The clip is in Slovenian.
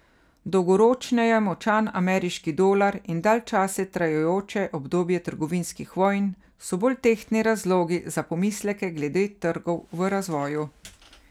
Dolgoročneje močan ameriški dolar in dalj časa trajajoče obdobje trgovinskih vojn so bolj tehtni razlogi za pomisleke glede trgov v razvoju.